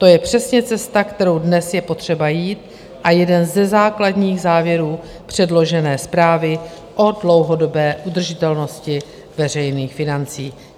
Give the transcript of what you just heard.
To je přesně cesta, kterou dnes je potřeba jít, a jeden ze základních závěrů předložené zprávy o dlouhodobé udržitelnosti veřejných financí.